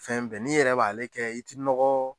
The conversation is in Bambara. Fɛn bɛɛ n'i yɛrɛ b'ale kɛ i ti nɔgɔɔ